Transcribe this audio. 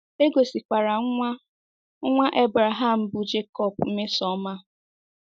E gosikwara nwa nwa Abraham bụ́ Jecob mmesoọma.